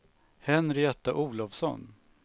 Henrietta Olovsson